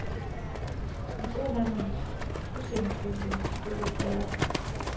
I en boghandels udstillingsvindue stod et værk.